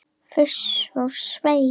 Fuss og svei!